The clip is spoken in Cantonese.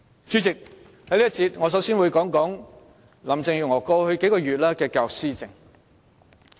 主席，在這一節，我首先會談談林鄭月娥過去數月來在教育方面的施政。